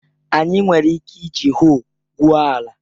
Anyị nwere ike iji hoe gwuo ala